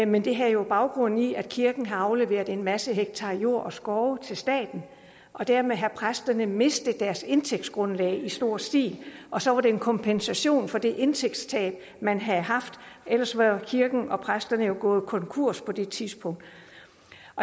men det havde jo baggrund i at kirken havde afleveret en masse hektar jord og skov til staten og dermed havde præsterne mistet deres indtægtsgrundlag i stor stil og så var det en kompensation for det indtægtstab man havde haft ellers var kirken og præsterne gået konkurs på det tidspunkt